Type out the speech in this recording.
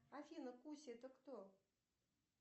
афина куся это кто